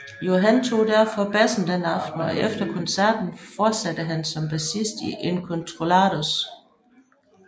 Johan tog derfor bassen den aften og efter koncerten fortsatte han som bassist i Incontrollados